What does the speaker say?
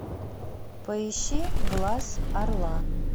поищи глаз орла